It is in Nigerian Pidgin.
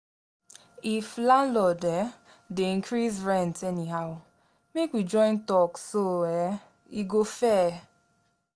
If landlord um dey increase rent anyhow, make we join talk so um e go fair.